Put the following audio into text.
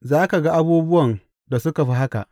Za ka ga abubuwan da suka fi haka.